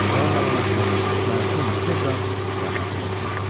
Kral da yanaşı, məsum buzov da rahatca yatmışdı.